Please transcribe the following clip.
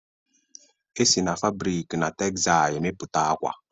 E si n'febrik na texsai èmeputa akwa